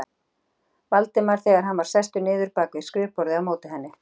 Valdimar þegar hann var sestur niður bak við skrifborðið á móti henni.